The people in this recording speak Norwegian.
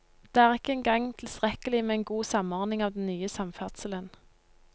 Det er ikke engang tilstrekkelig med en god samordning av den nye samferdselen.